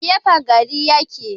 A gefen gari ya ke.